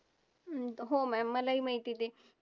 हो mam मलाही माहिती आहे ते.